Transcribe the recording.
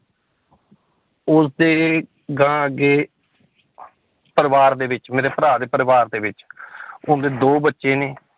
ਉਸਦੇ ਅਗਾਂਹ ਅੱਗੇ ਪਰਿਵਾਰ ਦੇ ਵਿੱਚ ਮੇਰੇ ਭਰਾ ਦੇ ਪਰਿਵਾਰ ਦੇ ਵਿੱਚ ਉਸਦੇ ਦੋ ਬੱਚੇ ਨੇ